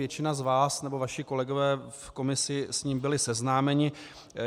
Většina z vás, nebo vaši kolegové v komisi s ním byli seznámeni.